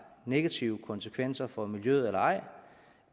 negative konsekvenser for miljøet eller ej